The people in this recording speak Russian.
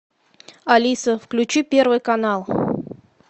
алиса включи первый канал